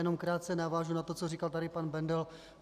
Jenom krátce navážu na to, co říkal tady pan Bendl.